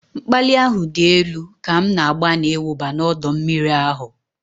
Mkpali ahụ dị elu ka m na-agbanị ịwụba n'ọdọ mmiri ahụ